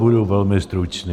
Budu velmi stručný.